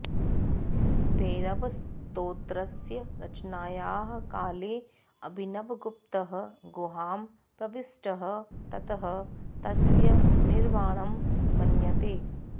भैरवस्तोत्रस्य रचनायाः काले अभिनवगुप्तः गुहां प्रविष्टः ततः तस्य निर्वाणं मन्यते